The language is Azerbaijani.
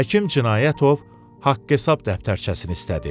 Həkim Cinayətov haqq-hesab dəftərçəsini istədi.